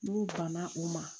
N'u banna u ma